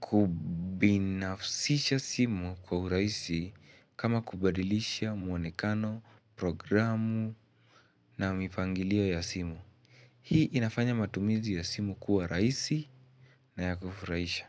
kubinafsisha simu kwa urahisi kama kubadilisha muonekano, programu na mipangilio ya simu. Hii inafanya matumizi ya simu kuwa rahisi na ya kufurahisha.